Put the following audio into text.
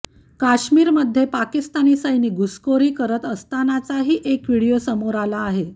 काश्मीरमध्ये पाकिस्तानी सैनिक घुसखोरी करत असतानाचाही एक व्हिडीओ समोर आला आहे